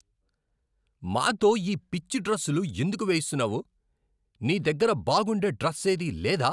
మాతో ఈ పిచ్చి డ్రస్సులు ఎందుకు వేయిస్తున్నావు? నీ దగ్గర బాగుండే డ్రస్సేదీ లేదా?